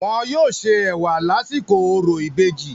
Wọn yóò se ẹ̀wà lásìkò orò ìbejì.